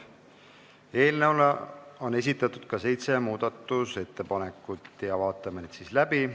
Eelnõu kohta on esitatud ka seitse muudatusettepanekut, vaatame nad läbi.